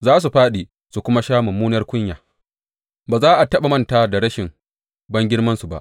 Za su fāɗi su kuma sha mummunar kunya; ba za a taɓa manta da rashin bangirmansu ba.